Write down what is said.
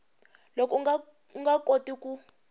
loko u nga koti ku